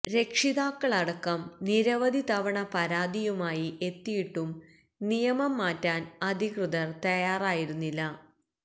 രക്ഷിതാക്കളടക്കം നിരവധി തവണ പരാതിയുമായി എത്തിയിട്ടും നിയമം മാറ്റാൻ അധികൃതർ തയാറായിരുന്നില്ല